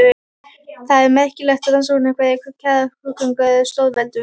Það er merkilegt rannsóknarefni hve kærar skrúðgöngur eru stórveldum.